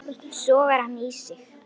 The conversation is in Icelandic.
Sogar hann í sig.